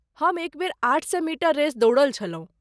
हम एक बेर आठ सए मीटर रेस दौड़ल छलहुँ।